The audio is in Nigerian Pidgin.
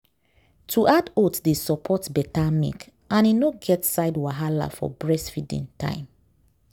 to add oats dey support better milk and e no get side wahala for breastfeeding time